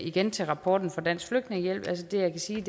igen til rapporten fra dansk flygtningehjælp det jeg kan sige